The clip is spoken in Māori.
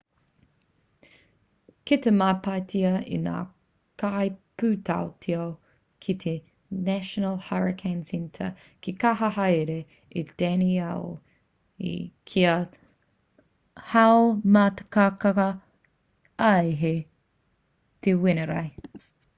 kei te matapaetia e ngā kaipūtaiao ki te national hurricane centre ka kaha haere a danielle kia haumātakataka ai hei te wenerei